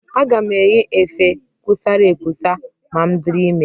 Aga m eyi efe kusara ekusa ma m dịrị ime.